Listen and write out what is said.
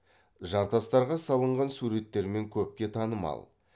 жартастарға салынған суреттерімен көпке танымал